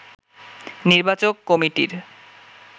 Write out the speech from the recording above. নির্বাচক কমিটির